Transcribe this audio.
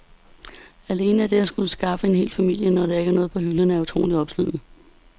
Alene det at skulle skaffe mad til en hel familie, når der ikke er noget på hylderne, er utroligt opslidende.